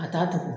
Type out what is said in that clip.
A t'a tugu